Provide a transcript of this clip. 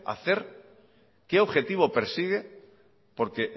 hacer qué objetivo persigue porque